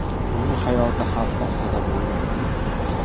Uning hayoti xavf ostida bo‘lgan.